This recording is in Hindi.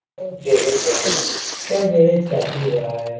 ये गैराज है यह गैराज काफी बड़ा है।